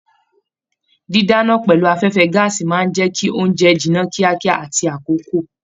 Didana pẹlú afẹfẹ gàásí máa n jẹ kí ounjẹ jìnnà kíákíá àti l'akoko.